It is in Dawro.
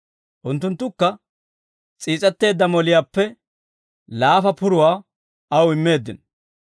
Unttunttukka, s'iis'etteedda moliyaappe laafa puruwaa aw immeeddino.